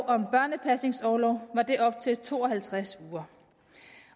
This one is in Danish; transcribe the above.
om børnepasningsorlov var det op til to og halvtreds uger